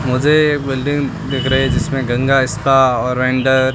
मुझे बिल्डिंग दिख रही है जिसमें गंगा इंस्टा और अंदर--